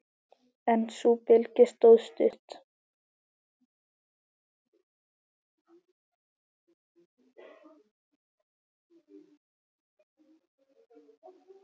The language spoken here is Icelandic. En sú bylgja stóð stutt.